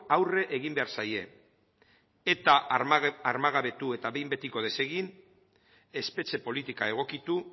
aurre egin behar zaie eta armagabetu eta behin betiko desegin espetxe politika egokitu